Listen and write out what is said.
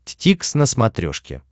дтикс на смотрешке